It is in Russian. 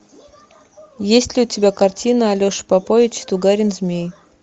есть ли у тебя картина алеша попович и тугарин змей